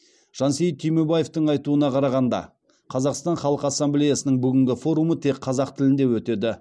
жансейіт түймебаевтың айтуына қарағанда қазақстан халқы ассамблеясының бүгінгі форумы тек қазақ тілінде өтеді